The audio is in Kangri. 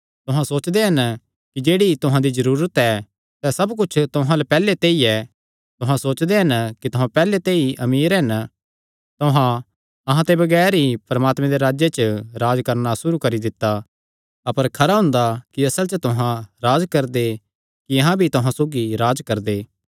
तुहां सोचदे हन कि जेह्ड़ी तुहां दी जरूरत ऐ सैह़ सब कुच्छ तुहां अल्ल पैहल्ले ते ई ऐ तुहां सोचदे हन कि तुहां पैहल्ले ते ई अमीर हन तुहां अहां ते बगैर ई परमात्मे दे राज्जे च राज्ज करणा सुरू करी दित्ता अपर खरा हुंदा कि असल च तुहां राज्ज करदे कि अहां भी तुहां सौगी राज्ज करदे